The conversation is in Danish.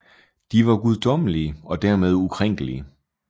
De var guddommelige og dermed ukrænkelige